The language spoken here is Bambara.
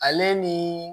Ale ni